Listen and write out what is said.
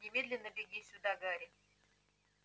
немедленно беги сюда гарри